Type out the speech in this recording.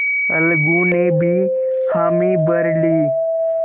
अलगू ने भी हामी भर ली